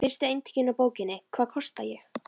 Fyrstu eintökin af bókinni Hvað kosta ég?